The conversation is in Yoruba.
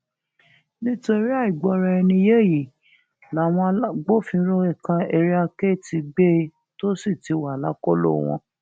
nítorí àìgbọraẹniyé yìí làwọn agbófinró ẹka area k ti gbé e tó sì ti wà lákọlò wọn